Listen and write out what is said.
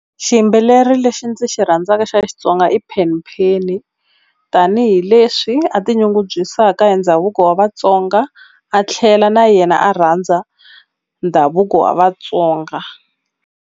Xiyimbeleri lexi ndzi xi rhandzaka xa Xitsonga i Penny Penny tanihileswi a tinyungubyisaka hi ndhavuko wa vatsonga a tlhela na yena a rhandza ndhavuko wa Vatsonga.